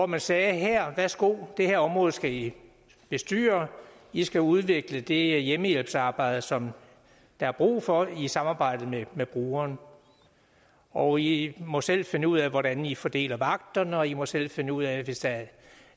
man sagde her værsgo det her område skal i bestyre i skal udvikle det hjemmehjælpsarbejde som der er brug for i et samarbejde med brugeren og i må selv finde ud af hvordan i fordeler vagterne og i må selv finde ud af hvis der